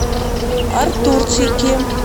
артурчике